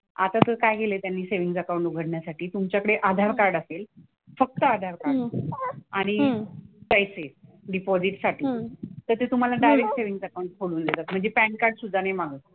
आता तर काय लिहिलंय त्यांनी सेव्हिन्ग अकाउंट उघडण्यासाठी तुमच्याकडे आधार कार्ड असेल, फक्त आधार कार्ड आणि पैसे डिपॉझिटसाठी, तर ते डायरेक्ट सेव्हिन्ग अकाउंट खोलून देतात. म्हणजे पॅन कार्ड सुद्धा नाही मागत.